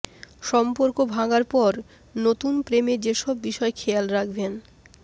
সম্পর্ক ভাঙার পর নতুন প্রেমে যেসব বিষয় খেয়াল রাখবেন